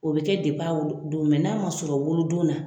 O bi kɛ a wolo don n'a ma sɔrɔ a wolodon na